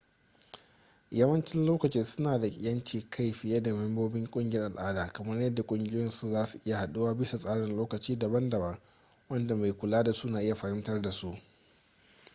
yawancin lokaci suna da 'yancin kai fiye da membobin ƙungiyar al'ada kamar yadda kungiyoyin su zasu iya haduwa bisa tsarin lokaci daban-daban wanda mai kula da su na iya fahimtar da su